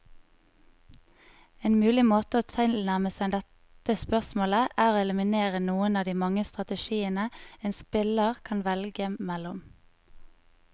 En mulig måte å tilnærme seg dette spørsmålet, er å eliminere noen av de mange strategiene en spiller kan velge mellom.